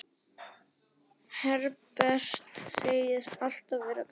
Herbert segist alltaf vera glaður.